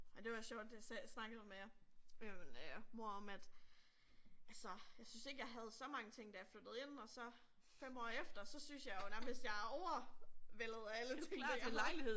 Ej det var sjovt det snakkede jeg med med min øh mor om at altså jeg synes ikke jeg havde så mange ting da jeg flyttede ind og så 5 år efter så synes jeg jo nærmest jeg er overvældet af alle tingene jeg har